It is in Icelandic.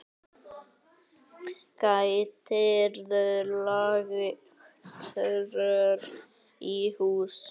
Gætirðu lagt rör í hús?